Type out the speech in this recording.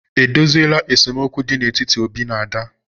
E dozieela esemokwu dị n'etiti Obi na Ada.